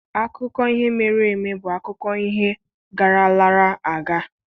Akụkọ ihe mere eme bụ akụkọ ihe garalarị aga.